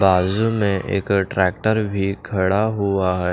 बाजू में एक ट्रैक्टर भी खड़ा हुआ है।